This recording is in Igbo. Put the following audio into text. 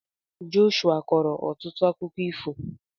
Joshua kọọrọ ọtụtụ akụkọ ifo.